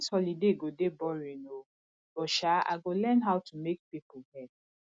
dis holiday go dey boring oo but sha i go learn how to make people hair